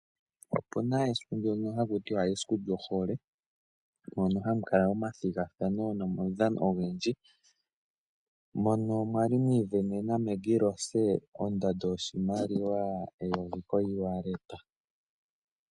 Opuna esiku ndyono hakutiwa esiku lyohole mono hamu kala omathigathano nomaudhano ogendji, mono mwali mwiivenena Maggie Rose ondando yoshimaliwa $1000 kongodhi.